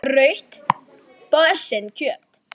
Rautt kjöt.